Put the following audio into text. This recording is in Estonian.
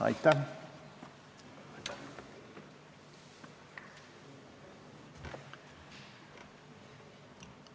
Aitäh!